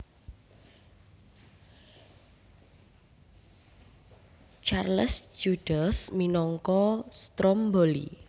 Charles Judels minangka Stromboli